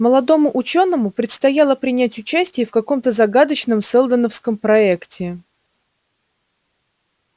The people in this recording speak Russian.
молодому учёному предстояло принять участие в каком-то загадочном сэлдоновском проекте